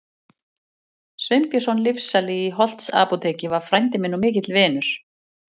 Sveinbjörnsson lyfsali í Holtsapóteki var frændi minn og mikill vinur.